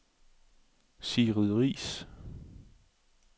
Sigrid Riis